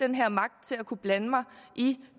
den her magt til at kunne blande mig i